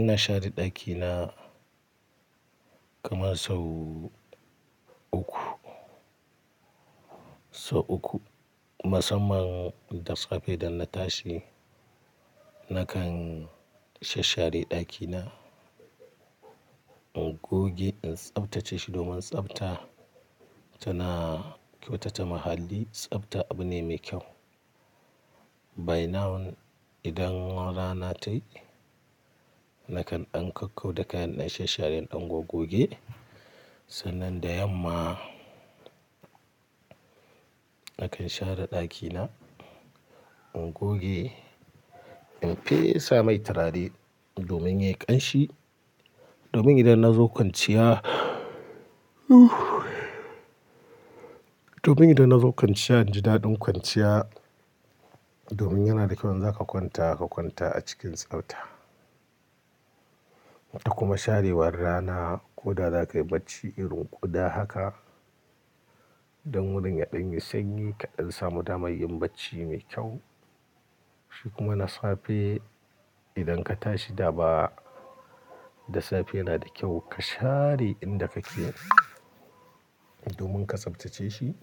Ina share ɗakina kaman sau uku, sau uku. Musamman da safe da na tashi nakan shashshare ɗakina, in goge, in tsaftace shi domin tsafta tana kyautata muhalli. Tsabta abu ne mai kyau. By now idan rana ta yi nakan ɗan kau kau da kayan na shashshare, in ɗan gogoge. Sannan da yamma nakan share ɗakina, in goge, in fesa mai turare domin ya yi ƙanshi, domin idan na zo kwanciya domin idan na zo kwanciya, in ji daɗin kwanciya. Domin yana da kyau in zaka kwanta, ka kwanta a cikin tsafta. Kuma sharewar rana ko da zakayi bacci irin ƙuda haka, don wurin ya ɗan yi sanyi kaɗan samu daman yin bacci mai kyau. Shi kuma na safe idan ka tashi dama, da safe yana da kyau ka share inda kake domin ka tsaftace shi,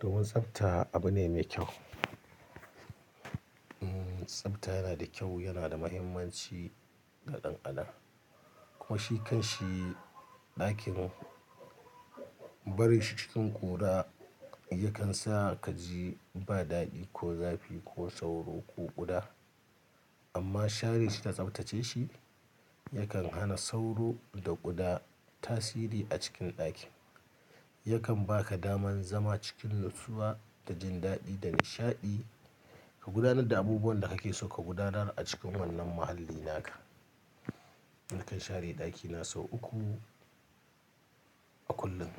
domin tsafta abu ne mai kyau. Umm tsafta yana da kyau, yana da muhimmanci ga ɗan adam. Kuma shi kan shi ɗakin barin shi cikin ƙura yakan sa ka ji ba daɗi ko zafi ko sauro ko ƙuda. Amma share shi da tsaftace shi yakan hana sauro da ƙuda tasiri a cikin ɗakin. Yakan baka daman zama cikin natsuwa da jin daɗi da nishaɗi. Ka gudanar da abubuwan da kake so ka gudanar a cikin wannan muhalli naka. Nakan share ɗakina sau uku a kullum.